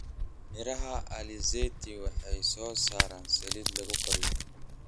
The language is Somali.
Miraha alizeti waxay soo saaraan saliid lagu kariyo.